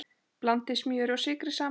Blandið smjöri og sykri saman.